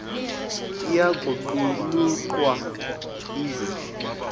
iya kuqulunqwa ize